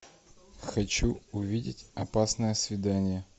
хочу увидеть опасное свидание